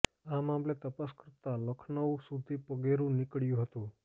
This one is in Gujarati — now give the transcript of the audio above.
આ મામલે તપાસ કરતા લખનઉ સુધી પગેરું નિકળ્યુ હતું